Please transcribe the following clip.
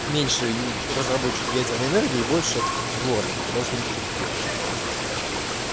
меньшей разработчик ядерной энергии и больше дворников потому что у них труд легче допустим